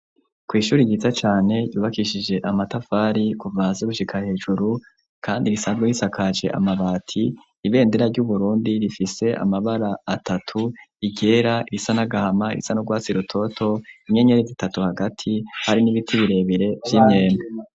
Kw'ishuri yiza cane ryubakishije amatafari kuva hasi gushika hejuru kandi risanzwe risakaje amabati. Ibendera ry'Uburundi rifise amabara atatu: iryera, irisa n'agahama, irisa n'urwatsi rutoto, inyenyeri zitatu hagati, hari n'ibiti birebire vy'imyembe.